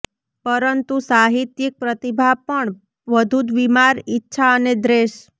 પરંતુ સાહિત્યિક પ્રતિભા પણ વધુ બીમાર ઇચ્છા અને દ્વેષ